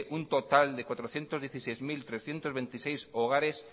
un total de cuatrocientos dieciséis mil trescientos veintiséis hogares